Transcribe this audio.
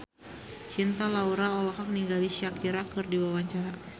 Cinta Laura olohok ningali Shakira keur diwawancara